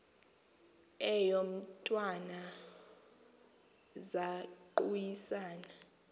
eyo mntwana zaquisana